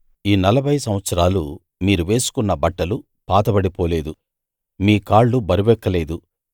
ఈ 40 సంవత్సరాలు మీరు వేసుకున్న బట్టలు పాతబడిపోలేదు మీ కాళ్ళు బరువెక్కలేదు